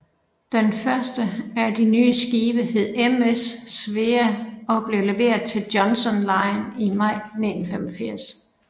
Den første af de nye skibe hed MS Svea og blev leveret til Johnson Line i maj 1985